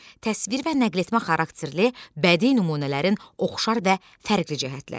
Təsvir və nəqletmə xarakterli bədii nümunələrin oxşar və fərqli cəhətləri.